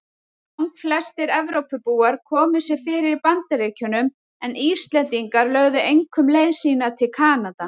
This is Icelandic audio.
Langflestir Evrópubúar komu sér fyrir í Bandaríkjunum en Íslendingar lögðu einkum leið sína til Kanada.